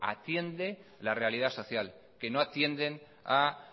atiende la realidad social que no atienden a